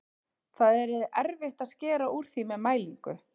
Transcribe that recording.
Það yrði erfitt að skera úr því með mælingu.